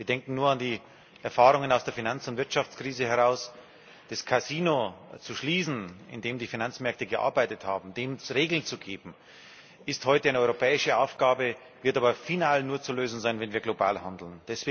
Wir denken nur an die Erfahrungen aus der Finanz und Wirtschaftskrise Das Casino zu schließen, in dem die Finanzmärkte gearbeitet haben, dafür Regeln zu geben, ist heute eine europäische Aufgabe, die aber final nur zu lösen sein wird, wenn wir global handeln.